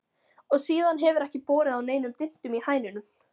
Og síðan hefur ekki borið á neinum dyntum í hænunum.